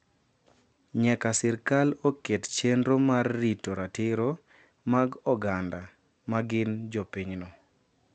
Nyaka sirkal oket chenro mar rito ratiro mag oganda ma gin jopinyno.